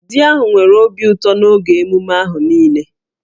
Di ahụ nwere obi ụtọ n'oge emume ahụ niile